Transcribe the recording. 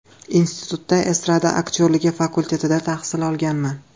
Institutda Estrada aktyorligi fakultetida tahsil olganman.